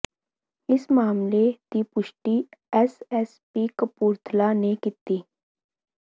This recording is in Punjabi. ਇਸ ਮਾਮਲੇ ਦੀ ਪੁਸ਼ਟੀ ਐਸ ਐਸ ਪੀ ਕਪੂਰਥਲਾ ਨੇ ਕੀਤੀ